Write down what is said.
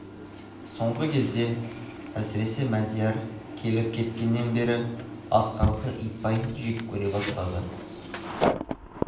соңғы кезде әсіресе мадияр келіп кеткеннен бері асқарды итбай жек көре бастады